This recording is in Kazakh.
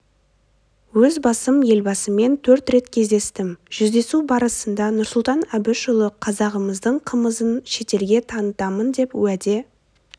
өз басым елбасымен төрт рет кездестім жүздесу барысында нұрсұлтан әбішұлына қазағымыздың қымызын шетелге танытамын деп уәде